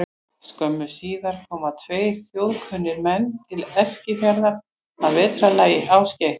Skömmu síðar komu tveir þjóðkunnir menn til Eskifjarðar að vetrarlagi, Ásgeir